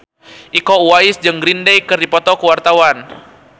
Iko Uwais jeung Green Day keur dipoto ku wartawan